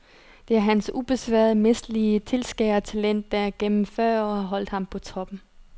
Det er hans ubesværede mesterlige tilskærertalent der gennem fyrre år har holdt ham på toppen.